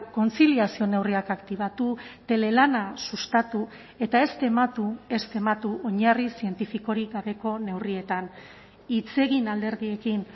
kontziliazio neurriak aktibatu telelana sustatu eta ez tematu ez tematu oinarri zientifikorik gabeko neurrietan hitz egin alderdiekin